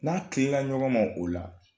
N'a kilenna ɲɔgɔn ma ola